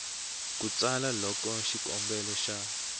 ku tsala loko xikombelo xa